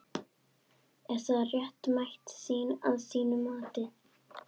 Er það réttmæt sýn að þínu mati?